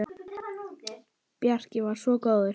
Bjarki var svo góður.